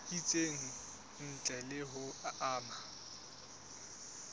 itseng ntle le ho ama